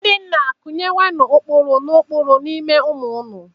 Ndị nna, kụnyenụ ụkpụrụ na ụkpụrụ n'ime ụmụ unu.